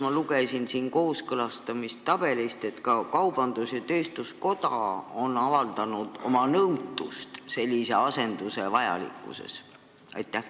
Ma lugesin kooskõlastamistabelist, et ka kaubandus-tööstuskoda on avaldanud oma nõutust, miks sellist asendust vaja on.